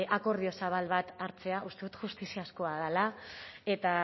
akordio zabal bat hartzea uste dut justiziakoa dela eta